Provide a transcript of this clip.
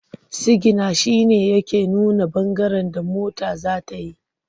Sigina shi ne yake nuna ɓangaren da mota za ta yi.